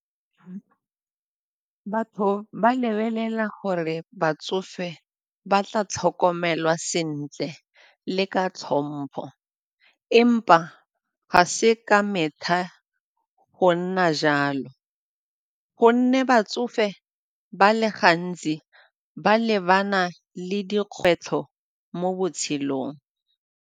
Batho ba lebelela gore batsofe ba tla tlhokomelwa sentle le ka tlhompho empa ga se ka metlha go nna jalo gonne batsofe ba le gantsi ba lebana le dikgwetlho mo botshelong.